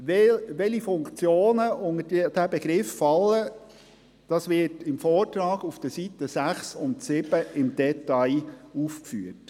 Welche Funktionen unter diesen Begriff fallen, wird im Vortrag auf den Seiten 6 und 7 im Detail aufgeführt.